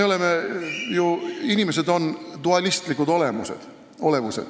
Meie, inimesed, oleme ju dualistlikud olevused.